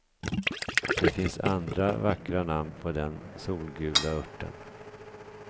Det finns andra vackra namn på den solgula örten.